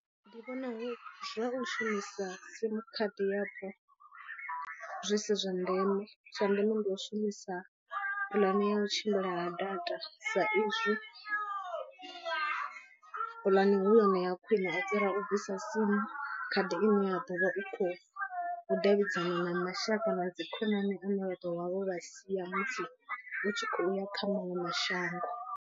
Ndi vhona zwa u shumisa sim khadi yapo zwi si zwa ndeme. Zwa ndeme ndi u shumisa puḽane ya u tshimbila ha data sa izwi puḽane hu yone ya khwine u fhira u bvisa sim khadi ine ya ḓo vha u khou davhidzana na mashaka na dzi khonani ane vha ḓo vha vho vha sia musi u tshi khouya kha maṅwe mashango.